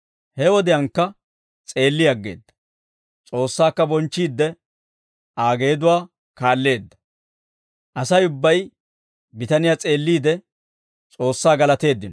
He wodiyaankka s'eelli aggeedda; S'oossaakka bonchchiidde Aa geeduwaa kaalleedda. Asay ubbay bitaniyaa s'eelliide, S'oossaa galateeddino.